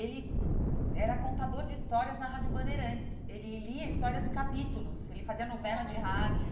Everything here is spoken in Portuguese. Ele era contador de histórias na Rádio Bandeirantes, ele lia histórias em capítulos, ele fazia olha novela de rádio.